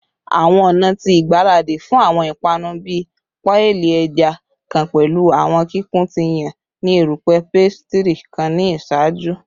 Awọn ọna ti igbaradi fun awọn ipanu bii paii ẹja kan pẹlu awọn kikun ti yan ni erupẹ pastry kan ni iṣaaju